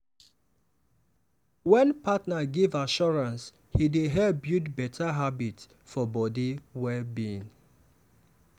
wen partner give assurance e dey help build better habit for body well-being.